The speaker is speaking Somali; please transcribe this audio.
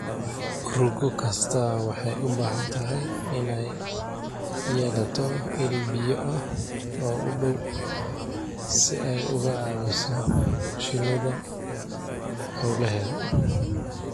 Rugo kastaa waxay u baahan tahay inay yeelato il biyo ah oo u dhow si ay uga caawiso shinnida hawlaheeda.